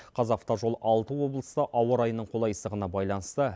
қазавтожол алты облыста ауа райының қолайсыздығына байланысты